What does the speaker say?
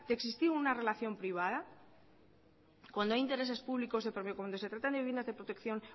de existir una relación privada cuando hay intereses públicos y cuando se tratan de viviendas de protección